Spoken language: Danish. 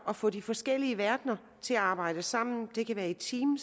at få de forskellige verdener til at arbejde sammen det kan være i team